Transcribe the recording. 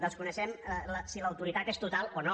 desconeixem si l’autoritat és total o no